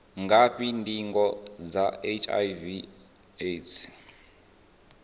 ngafhi ndingo dza hiv aids